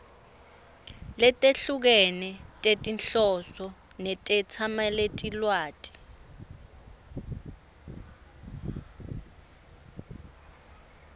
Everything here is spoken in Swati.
letehlukene tetinhloso netetsamelilwati